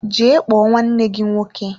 Jee kpọọ nwanne gị nwoke!